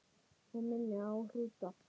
Hún minni á hrúta.